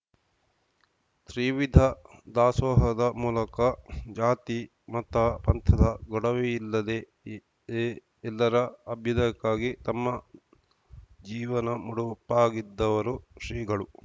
ತ್ರಿವಿಧ ದಾಸೋಹದ ಮೂಲಕ ಜಾತಿ ಮತಪಂಥದ ಗೊಡವೆಯಿಲ್ಲದೇ ಎ ಎ ಎಲ್ಲರ ಅಭ್ಯುದಯಕ್ಕಾಗಿ ತಮ್ಮ ಜೀವನ ಮುಡುಪಾಗಿದ್ದವರು ಶ್ರೀಗಳು